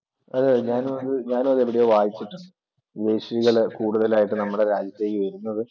അതെ അതെ ഞാനും അതെവിടെയോ വായിച്ചിട്ടുണ്ട്. വിദേശികള് കൂടുതലായിട്ടു നമ്മുടെ രാജ്യത്തേക്ക് വരുന്നത്.